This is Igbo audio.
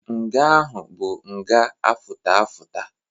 Nga ahụ bụ nga afụta afụta.